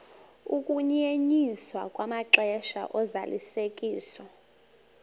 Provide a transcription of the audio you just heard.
ukunyenyiswa kwamaxesha ozalisekiso